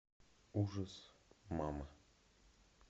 ужас мама